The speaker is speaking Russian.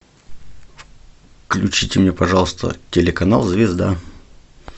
включите мне пожалуйста телеканал звезда